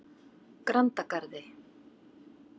Grandagarði